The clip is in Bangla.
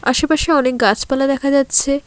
আশেপাশে অনেক গাছপালা দেখা যাচ্ছে।